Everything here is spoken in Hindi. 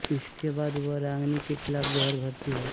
इसके बाद वह रागिनी के खिलाफ जहर भर्ती है